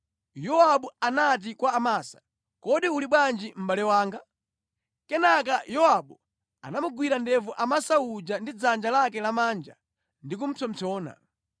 Yowabu anati kwa Amasa, “Kodi uli bwanji mʼbale wanga?” Kenaka Yowabu anamugwira ndevu Amasa uja ndi dzanja lake lamanja ndi kupsompsona.